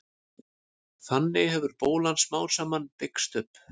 þannig hefur bólan smám saman byggst upp